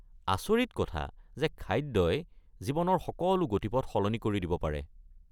আচৰিত কথা যে খাদ্যই জীৱনৰ সকলো গতিপথ সলনি কৰি দিব পাৰে।